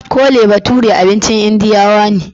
Cole bature abincin indiyawa ne